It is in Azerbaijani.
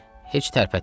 Heç tərpətməyin.